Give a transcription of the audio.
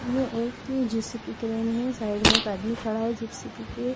ये एक JCB crane हैं साइड में एक आदमी खड़ा हैं जे_सी_बी के--